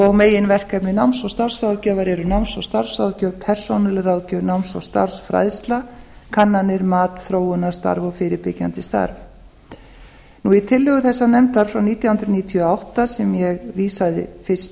og meginverkefni náms og starfsráðgjafar eru náms og starfsráðgjöf persónuleg ráðgjöf náms og starfsfræðsla kannanir matþróunarstarf og fyrirbyggjandi störf í tillögu þessarar nefndar frá nítján hundruð níutíu og átta sem ég vísaði fyrst